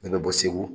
Ne bɛ bɔ segu